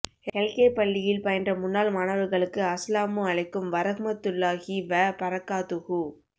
L K பள்ளியில் பயின்ற முன்னாள் மாணவர்களுக்கு அஸ்ஸலாமு அழைக்கும் வரஹ்மத்துல்லாஹி வ பரக்காத்துஹு